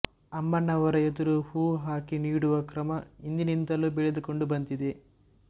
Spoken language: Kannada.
ಅಮ್ಮನವರ ಎದುರು ಹೂವು ಹಾಕಿ ನೋಡುವ ಕ್ರಮ ಹಿಂದಿನಿಂದಲೂ ಬೆಳೆದುಕೊಂಡು ಬಂದಿದೆ